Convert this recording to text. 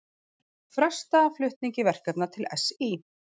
Fresta flutningi verkefna til SÍ